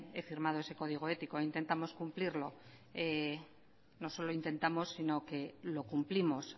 he firmado ese código ético e intentamos cumplirlo no solo intentamos sino que lo cumplimos